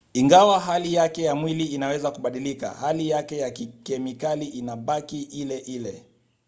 ingawa hali yake ya mwili inaweza kubadilika hali yake ya kikemikali inabaki ile ile